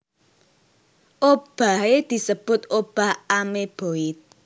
Obahé disebut obah amoeboid